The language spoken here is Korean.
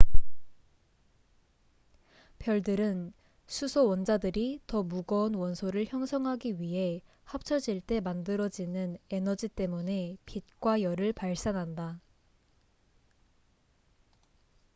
별들은 수소 원자들이 더 무거운 원소를 형성하기 위해 합쳐질 때 만들어지는 에너지 때문에 빛과 열을 발산한다